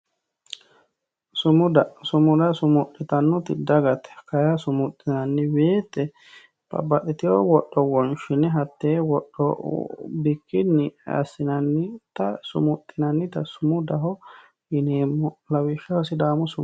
sumuda sumuda sumudhitannoti dagate simudhinanni woyiite babbadhitiyoo wodho wonshine hataa wodho bikinni assinannita sumudhinannita sumudaho yineemo lawishshaho sidaamu sumuda.